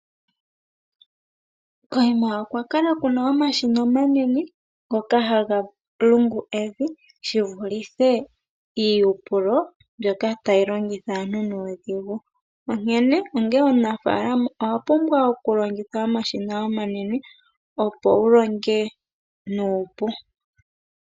Koyima okwa kala kuna omashina omanene ngoka haga lungu evi shivulithe iihupulo mbyoka tayi longitha aantu nuudhigu onkene onge omunafaalama owapumbwa okulongitha omashina omanene opo wu longe nuupu.